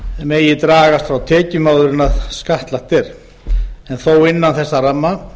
megi dragast frá tekjum áður en skattlagt er en þó innan þessa ramma